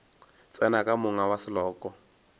tsena ka monga wa seloko